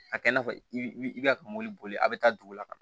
A kɛ i n'a fɔ i bi i ka mɔbili boli a bɛ taa dugu la ka na